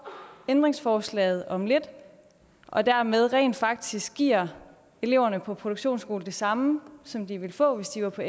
ændringsforslaget om lidt og dermed rent faktisk giver eleverne på produktionsskolerne det samme som de ville få hvis de var på